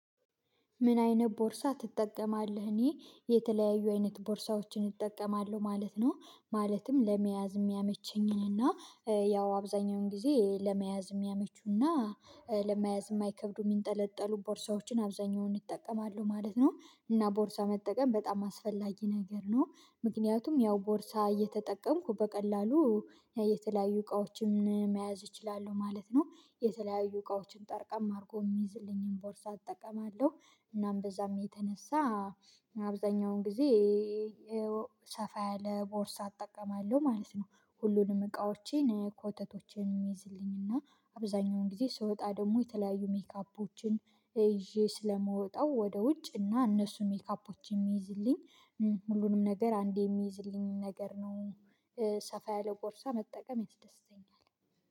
ምን? አይነት ቦርሳ ትጠቀማለህ እኔ የተለያዩ አይነት ቦርሳዎችን እጠቀማለሁ ማለት ነው ማለትም ለመያዝ የሚያመቸኝን እና ያው አብዛኛውን ጊዜ ለመያዝ እሚያመቹና ለመያዝ እማይከብዱ የሚንጠለጠሉ ቦርሳዎችን አብዛኛውን ይጠቀማለሁ ማለት ነው። እና ቦርሳ መጠቀም በጣም አስፈላጊ ነገር ነው። ምክንያቱም ያው ቦርሳ እየተጠቀምኩ በቀላሉ የተለያዩ እቃዎችን መያዝ እችላለሁ ማለት ነው። የተለያዩ እቃዎችን ጠርቀም አርጎ እሚይዝልኝን ቦርሳ እጠቀማለሁ እናም በዛም የተነሳ አብዛኛውን ጊዜ ሰፋ ያለ ቦርሳ እጠቀማለሁ ማለት ነው። ሁሉንም እቃዎቼን ኮተቶቼን እሚይዝልኝና አብዛኛውን ጊዜ ስወጣ ደግሞ የተለያዩ ሜካፖችን ይዤ ስለምወጣው ወደ ውጭ እና እነሱ ሜካፖችን እሚይዝልኝ ሁሉንም ነገር አንዴ እሚይዝልኝን ነገር ነው። ሰፋ ያለ ቦርሳ መጠቀም ያስደስተኛል።